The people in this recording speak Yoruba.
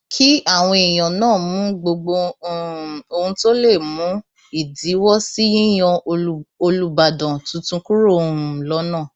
kí àwọn èèyàn náà mú gbogbo um ohun tó lè mú ìdíwọ sí yíyan olùbàdàn tuntun kúrò um lọnà